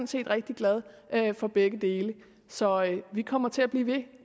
set rigtig glad for begge dele så vi kommer til at blive ved